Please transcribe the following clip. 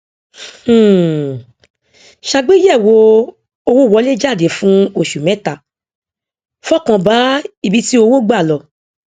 um ṣàgbéyẹwò owówọléjáde fún oṣù mẹta fọkàn bá ibi tí owó gbà lọ